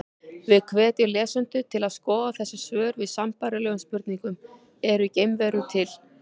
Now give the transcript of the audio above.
Við hvetjum lesendur til að skoða þessi svör við sambærilegum spurningum: Eru geimverur til?